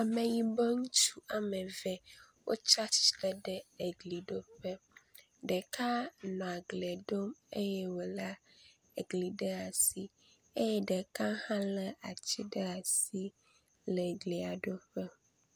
Ameyibɔ ŋutsu wome eve wotsi atsitre ɖe egliɖoƒe. Ɖeka nɔ glia ɖom eye wolé gli ɖe asi eye ɖeka hẽ lé ati ɖe asi le glia ɖom.